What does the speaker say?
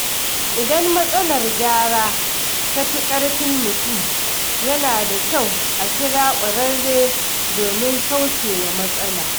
Idan matsalar gyara ta fi ƙarfin mutum, yana da kyau a kira ƙwararre domin kauce wa matsala.